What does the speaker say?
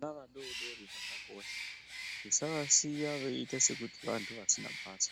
Vana vadodori vakakosha tisavasiya sekuti vantu vasina basa